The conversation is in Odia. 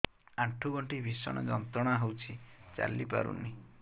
ଆଣ୍ଠୁ ଗଣ୍ଠି ଭିଷଣ ଯନ୍ତ୍ରଣା ହଉଛି ଚାଲି ପାରୁନି